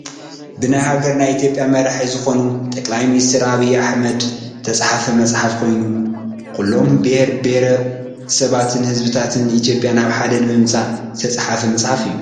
ብናይ ሃገርና ኢትዮጵያ መራሒ ዝኮኑ ጠቅላይ ሚንስተር ዐቢይ ኣሕመድ ዝትፃሕፈ መፅሓፍ ኮይኑ ኩሎም ብሄር ብሄረሰባትን ህዘብታትን ኢትዮጵያ ናብ ሓደ ንምምፃእ ዝትፅሓፈ ምፅሓፍ እዩ።